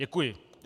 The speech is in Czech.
Děkuji.